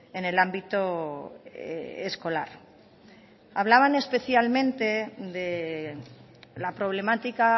en el ámbito escolar hablaban especialmente de la problemática